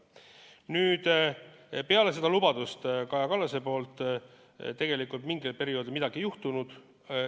Nüüd, peale Kaja Kallase lubadust mingil perioodil tegelikult midagi ei juhtunud.